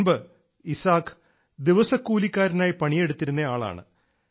മുമ്പ് ഇസാക് ദിവസക്കൂലിക്കാരനായി പണിയെടുത്തിരുന്ന ആളാണ്